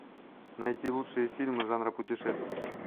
найти лучшие фильмы жанра путешествия